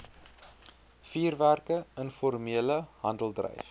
vuurwerke informele handeldryf